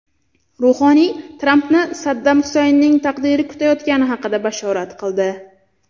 Ruhoniy Trampni Saddam Husaynning taqdiri kutayotgani haqida bashorat qildi.